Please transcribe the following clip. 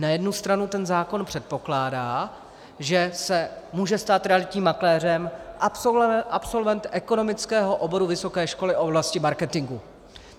Na jednu stranu ten zákon předpokládá, že se může stát realitním makléřem absolvent ekonomického oboru vysoké školy v oblasti marketingu.